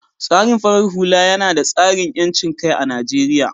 tsarin farar hula yina da tsarin yancinkai a Najeriya